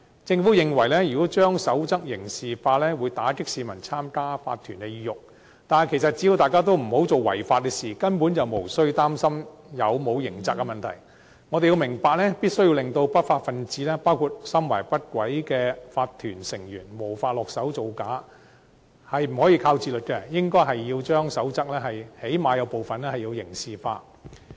政府認為，如果在守則加入刑責，會打擊市民參加法團的意欲，但其實只要大家不做違法的事，根本無須擔心有否刑責問題。我們要明白，要令不法分子，包括心懷不軌的法團成員無法下手造假，是不能單靠自律的，最低限度應在部分守則加入刑責。